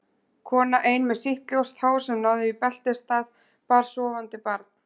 Kona ein með sítt ljóst hár sem náði í beltisstað, bar sofandi barn.